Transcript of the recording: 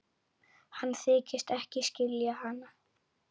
Hann þykist ekki skilja hana.